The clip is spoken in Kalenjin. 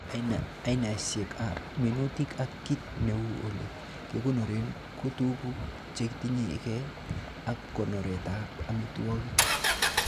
Ainaisiek ab minutik ak kit neu ele kekonoren kotugu che tinye gee ak kororonindab amitwoogik.